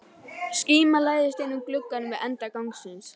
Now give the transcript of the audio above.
Skíma læðist inn um glugga við enda gangsins.